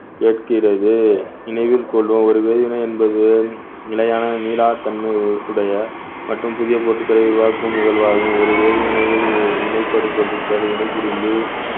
கேக்கிறது நினைவில் கொள்ளும் ஒரு வேதிவினை என்பது மிலையான மீளாத்தன்மை உ~ உடைய மற்றும் புதிய பொருட்களை உருவாக்கும் நிகழ்வாகும் ஒரு வேதிவினையில் வி~ வினைப்படு பொருட்களுக்கு வினை புரிந்து